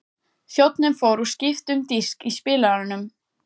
Þjónninn fór og skipti um disk í spilaranum.